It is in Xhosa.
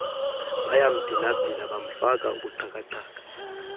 bayambhilabhila bamfaka ubuxhakaxhaka